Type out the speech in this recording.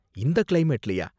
இந்த கிளைமேட்லயா?